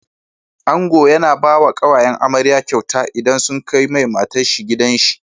Ango yAna bawa kawayen amarya kyauta idan sun kai mai matar shi gidan shi